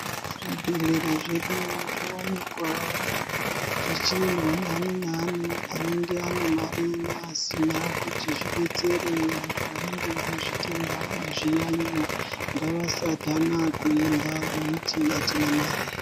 Zvibhedhlera zvedu zvovanikwa zvichiendwa naani naani anenge ane mari neasina. Kuti zvibetsere vantu vanenge vane zvitenda nezviyaiyo ngavasadhana kuenda veiti hatina mari.